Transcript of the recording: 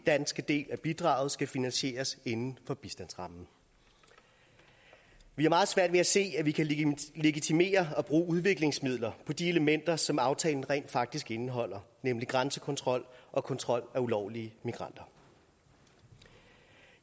danske del af bidraget skal finansieres inden for bistandsrammen vi har meget svært ved at se at man kan legitimere at bruge udviklingsmidler på de elementer som aftalen rent faktisk indeholder nemlig grænsekontrol og kontrol af ulovlige migranter